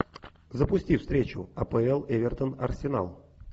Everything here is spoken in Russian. запусти встречу апл эвертон арсенал